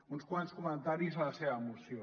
uns quants comentaris a la seva moció